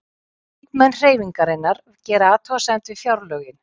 Þingmenn Hreyfingarinnar gera athugasemd við fjárlögin